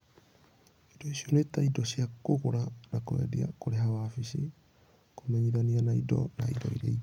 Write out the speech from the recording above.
Indo icio nĩ ta indo cia kũgũra na kwendia, kũrĩha wabici, kũmenyithania na indo, na indo ingĩ.